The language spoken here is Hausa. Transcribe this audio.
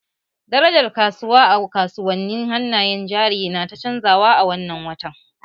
Darajar kasuwa a kasuwannin hannayen jari na ta canzawa a wannan watan